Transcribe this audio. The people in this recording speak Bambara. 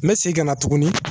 N bɛ segin ka na tuguni